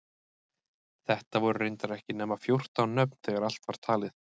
Þetta voru reyndar ekki nema fjórtán nöfn þegar allt var talið.